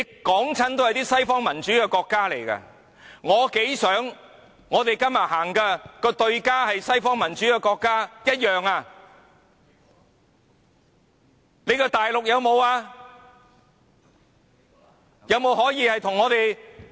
舉出來的都是西方民主國家，我多麼希望我們今天的對象是西方民主國家，但大陸有沒有民主？